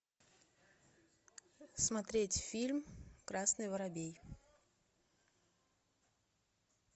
смотреть фильм красный воробей